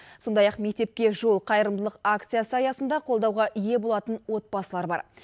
сондай ақ мектепке жол қайырымдылық акциясы аясында қолдауға ие болатын отбасылар бар